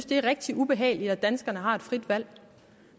det er rigtig ubehageligt at danskerne har et frit valg